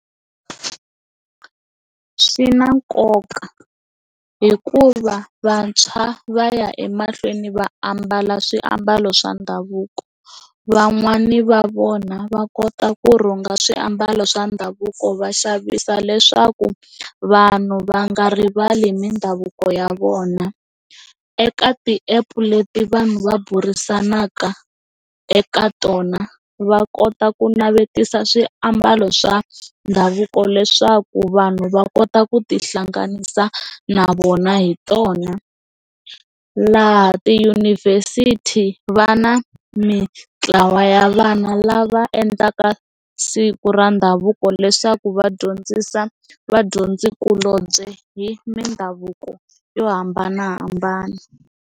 Swi na nkoka hikuva vantshwa va ya emahlweni va ambala swiambalo swa ndhavuko van'wani va vona va kota ku rhunga swiambalo swa ndhavuko va xavisa leswaku vanhu va nga rivali mindhavuko ya vona eka ti-app leti vanhu va burisanaka eka tona va kota ku navetisa swiambalo swa ndhavuko leswaku vanhu va kota ku ti hlanganisa na vona hi tona laha tiyunivhesiti va na mitlawa ya vana lava endlaka siku ra ndhavuko leswaku va dyondzisa vadyondzikulobye hi mindhavuko yo hambanahambana.